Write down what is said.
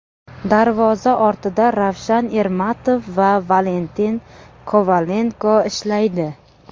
Darvoza ortida Ravshan Ermatov va Valentin Kovalenko ishlaydi.